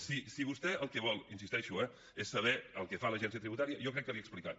si vostè el que vol hi insisteixo eh és saber el que fa l’agència tributària jo crec que l’hi he explicat